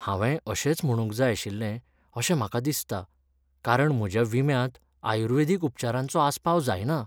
हांवेंय अशेंच म्हणूंक जाय आशिल्लें अशें म्हाका दिसता कारण म्हज्या विम्यांत आयुर्वेदिक उपचारांचो आस्पाव जायना.